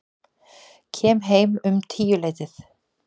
Kem heim um tíuleytið.